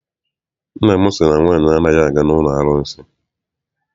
Nna m sị na nwaanyị anaghị aga n'ụlọ arụsị.